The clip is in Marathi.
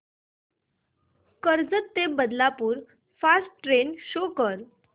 कर्जत ते बदलापूर फास्ट ट्रेन शो कर